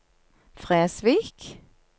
Fresvik